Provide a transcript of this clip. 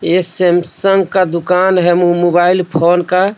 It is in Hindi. ये सेमसंग का दुकान है मु मु मोबाइल फोन का।